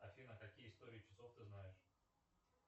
афина какие истории часов ты знаешь